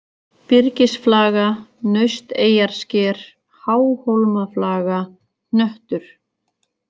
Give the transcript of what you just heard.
Byrgisflaga, Nausteyjarsker, Háhólmaflaga, Hnöttur